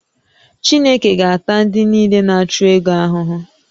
Chineke ga-ata ndị niile na-achụ ego ahụhụ